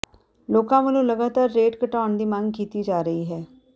ਲੋਕਾਂ ਵਲੋਂ ਲਗਾਤਾਰ ਰੇਟ ਘਟਾਉਣ ਦੀ ਮੰਗ ਕੀਤੀ ਜਾ ਰਹੀ ਹੈ